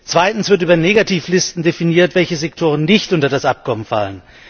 Zweitens wird über Negativlisten definiert, welche Sektoren nicht unter das Abkommen fallen.